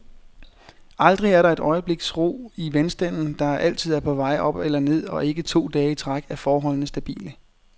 Aldrig er der et øjebliks ro i vandstanden, der altid er på vej op eller ned, og ikke to dage i træk er forholdene stabile.